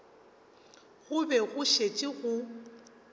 go be go šetše go